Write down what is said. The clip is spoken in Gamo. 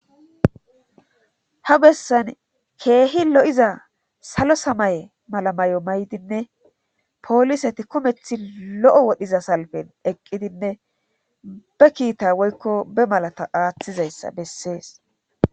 Ha bessan keehi lo7iza salo samaye mala may7o may7dinne pooliseti kumethi lo7o wodhiza salpen eqqidinne be kiita woykko be malata aaththizayssa bessees.